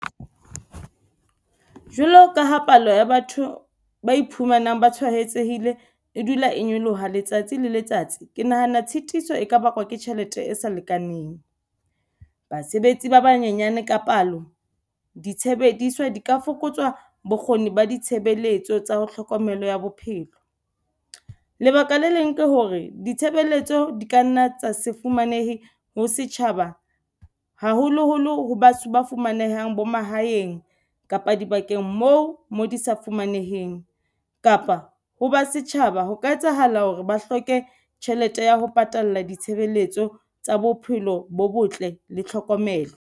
Jwalo ka ha palo ya batho ba iphumanang ba tshwaetsehile e dula e nyoloha letsatsi le letsatsi. Ke nahana tshitiso e ka bakwa ke tjhelete e sa lekaneng. Basebetsi ba banyenyane ka palo, ditshebediswa di ka fokotswa bokgoni ba ditshebeletso tsa ho tlhokomelo ya bophelo. Lebaka le leng ke hore ditshebeletso di kanna tsa se fumanehe ho setjhaba haholoholo batho ba fumanehang bo mahaeng kapa dibakeng moi mo di sa fumaneheng. Kapa ho ba setjhaba ho ka etsahala hore ba hloke tjhelete ya ho patala ditshebeletso tsa bophelo bo botle le tlhokomelo.